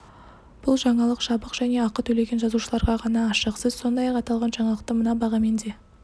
бұл жаңалық жабық және ақы төлеген жазылушыларға ғана ашық сіз сондай-ақ аталған жаңалықты мына бағамен де